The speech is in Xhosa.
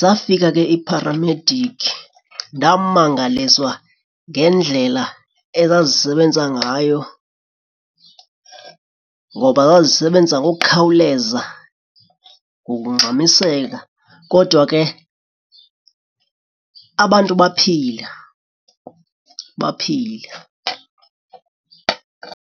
zafika ke ipharamediki. Ndamangaliswa ngendlela ezazisebenza ngayo ngoba zazisebenza ngokukhawuleza ngokungxamiseka kodwa ke abantu baphila, baphila.